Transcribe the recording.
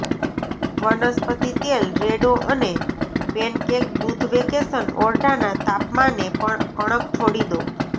વનસ્પતિ તેલ રેડો અને પેનકેક દૂધ વેકેશન ઓરડાના તાપમાને પર કણક છોડી દો